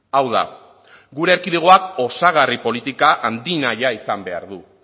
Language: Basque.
hau da gure erkidegoak osagarri politika handinahia izan behar du